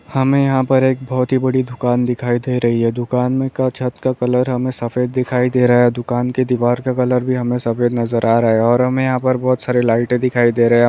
हमें यहाँ पर एक बहुत ही बड़ी दुकान दिखाई दे रही है। दुकान में का छत का कलर हमें सफेद दिखाई दे रहा है। दुकान की दीवार का कलर भी हमें सफ़ेद नजर आ रहा है। और हमें यहाँ पर बहुत सारे लाइटे दिखाई दे रहे हैं ।